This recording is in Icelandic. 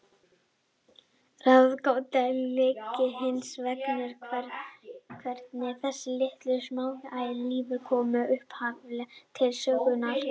Ráðgátan liggur hins vegar í hvernig þessar litlu, smásæju lífverur komu upphaflega til sögunnar.